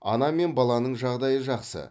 ана мен баланың жағдайы жақсы